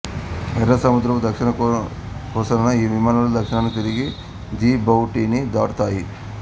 ఎర్ర సముద్రపు దక్షిణ కొసన ఈ విమానాలు దక్షిణానికి తిరిగి జిబౌటీని దాటాయి